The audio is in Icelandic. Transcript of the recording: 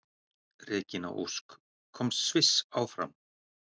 Regína Ósk: Komst Sviss áfram?